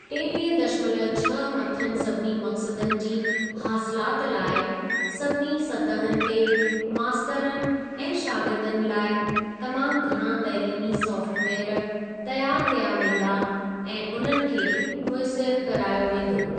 टेवीह दशमलव छह मथियनि सभिनी मक़सदनि जी हासिलाति लाइ सभिनी सतहुनि ते मास्तरनि ऐं शागिर्दनि लाइ तमामु घणा तइलीमी सॉफ्टवेयर तैयारु कया वेंदा ऐं उन्हनि खे मुयसिर करायो वेंदो।